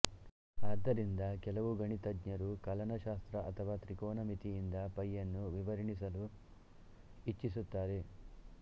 ಅದ್ದರಿಂದ ಕೆಲವು ಗಣಿತಜ್ಞರು ಕಲನಶಾಸ್ತ್ರ ಅಥವಾ ತ್ರಿಕೋನಮಿತಿಯಿಂದ ಪೈಯನ್ನು ವಿವರಣಿಸಲು ಇಚ್ಛಿಸುತ್ತಾರೆ